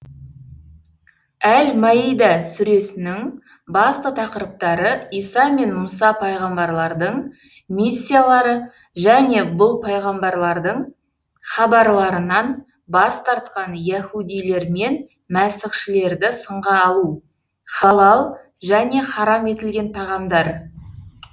әл мәида сүресінің басты тақырыптары иса мен мұса пайғамбарлардың миссиялары және бұл пайғамбарлардың хабарларынан бас тартқан яһудилер мен мәсіхшілерді сынға алу халал және һарам етілген тағамдар